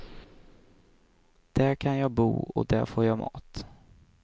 Där kan jag bo och där får jag mat.